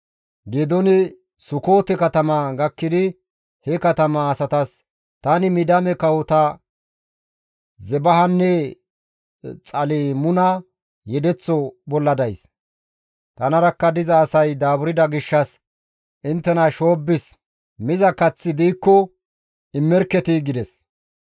Geedooni Sukoote katama gakkidi he katama asatas, «Tani Midiyaame kawota Zebahanne Xalmuna yedeththo bolla days; tanarakka diza asay daaburda gishshas inttena shoobbis, miza kaththi diikko immerketii» gides.